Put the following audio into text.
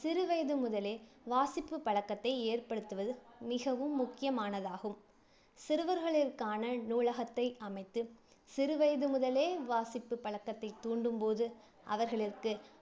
சிறுவயது முதலே வாசிப்பு பழக்கத்தை ஏற்படுத்துவது மிகவும் முக்கியமானதாகும். சிறுவர்களிற்கான நூலகத்தை அமைத்து சிறுவயது முதலே வாசிப்பு பழக்கத்தை தூண்டும் போது அவர்களிற்கு